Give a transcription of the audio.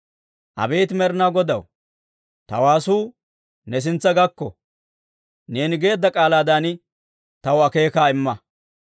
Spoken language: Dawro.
Abeet Med'inaa Godaw, ta waasuu, ne sintsa gakko; neeni geedda k'aalaadan taw akeekaa imma.